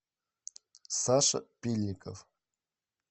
саша пильников